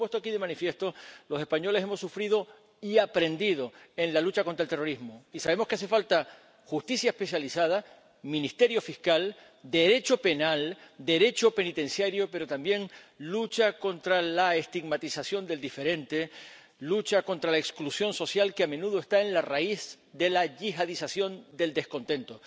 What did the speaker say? Y, como se ha puesto aquí de manifiesto, los españoles hemos sufrido y aprendido en la lucha contra el terrorismo, y sabemos que hacen falta justicia especializada, ministerio fiscal, Derecho penal, Derecho penitenciario, pero también lucha contra la estigmatización del diferente, lucha contra la exclusión social, que a menudo está en la raíz de la yihadización del descontento.